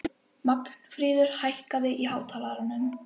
Magnfríður, hækkaðu í hátalaranum.